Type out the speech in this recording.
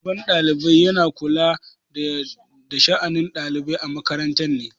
Shugaban ɗalibai yana kula da sha'anin ɗalibai a makaranta ne.